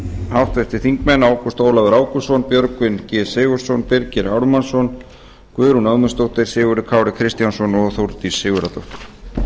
háttvirtir þingmenn ágúst ólafur ágústsson björgvin g sigurðsson birgir ármannsson guðrún ögmundsdóttir sigurður kári kristjánsson og þórdís sigurðardóttir